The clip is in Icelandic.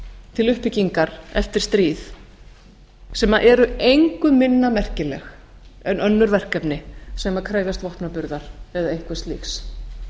til uppbyggingar eftir stríð sem eru engu minna merkileg en önnur verkefni sem krefjast vopnaburðar eða einhvers slíks